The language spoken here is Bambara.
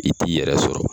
I t'i yɛrɛ sɔrɔ